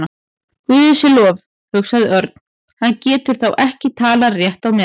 Guði sé lof, hugsaði Örn, hann getur þá ekki talað rétt á meðan.